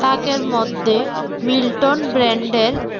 তাকের মধ্যে মিল্টন ব্র্যান্ডের--